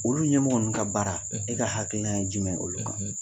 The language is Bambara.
Olu ɲɛmɔgɔ ninnu ka baara e ka hakilina ye jumɛn olu kan ?